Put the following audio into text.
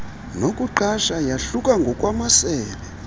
nokuqasha yahluka ngokwamasebe